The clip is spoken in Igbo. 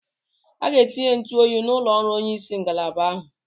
A ga-etinye ntụ oyi n'ụlọ ọrụ onyeisi ngalaba ahụ.